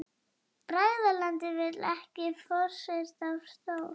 Bræðralagið vill ekki forsetastól